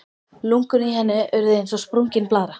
Lungun í henni urðu eins og sprungin blaðra.